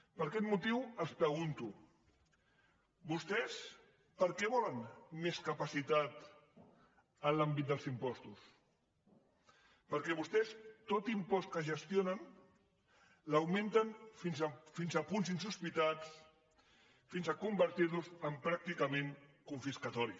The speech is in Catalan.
per aquest motiu els pregunto vostès per què volen més capacitat en l’àmbit dels impostos perquè vostès tot impost que gestionen l’augmenten fins a punts insospitats fins a convertir lo en pràcticament confiscador